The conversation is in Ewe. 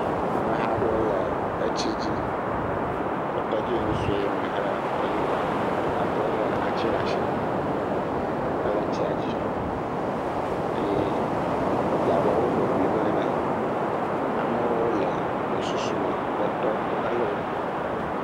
Ameha aɖewo le etsi dzi. Etɔdziŋu sue me etɔdziŋua kum. Wo katã wo le atsi ɖe asi hele tsia dzi eye edze abe wo ho ŋlim ene. Amewo le gbɔsusu me le tɔ to hele wokpɔm.